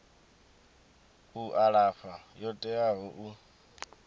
u alafha yo teaho u